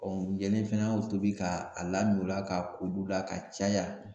yanni fɛnɛ an y'o tobi ka a lamin o la ka ko olu la ka caya